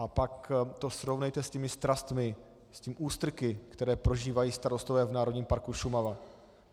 A pak to srovnejte s těmi strastmi, s těmi ústrky, které prožívají starostové v Národním parku Šumava.